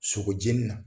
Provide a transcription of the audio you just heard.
Sogo jeni na